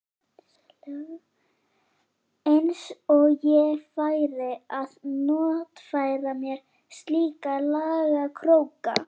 Eins og ég færi að notfæra mér slíka lagakróka.